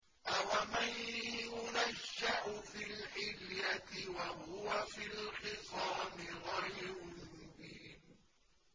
أَوَمَن يُنَشَّأُ فِي الْحِلْيَةِ وَهُوَ فِي الْخِصَامِ غَيْرُ مُبِينٍ